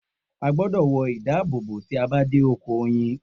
O gbọ́dọ̀ wọ ìdábòbò tí a bá dé oko oyin.